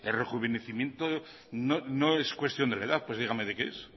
rejuvenecimiento no es cuestión de la edad pues dígame de qué es